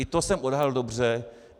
I to jsem odhadl dobře.